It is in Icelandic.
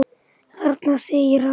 Þarna! segir hann.